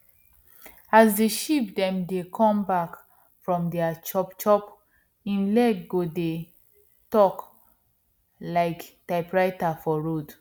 as di sheep dem dey come back from their chop chop hin leg go dey talk like typewriter for road